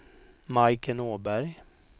Majken Åberg